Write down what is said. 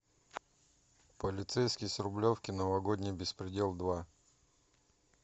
полицейский с рублевки новогодний беспредел два